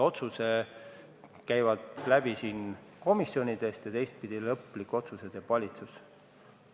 Otsused käivad läbi komisjonidest, aga lõpliku otsuse teeb valitsus.